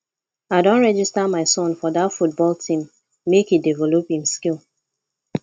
i don register my son for dat football team make e develop im skill